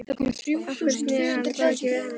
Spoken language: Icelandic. Af hverju sneri hann baki við henni?